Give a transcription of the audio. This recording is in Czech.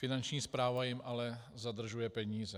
Finanční správa jim ale zadržuje peníze.